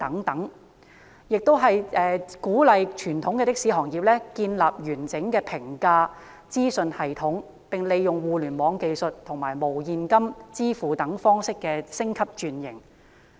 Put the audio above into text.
內地當局亦鼓勵傳統的士行業建立完整的評價資訊系統，以及利用互聯網技術和無現金支付方式等進行升級轉型。